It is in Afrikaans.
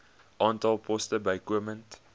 aantal poste bykomend